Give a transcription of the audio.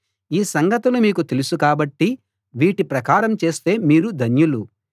ఈ సంగతులు మీకు తెలుసు కాబట్టి వీటి ప్రకారం చేస్తే మీరు ధన్యులు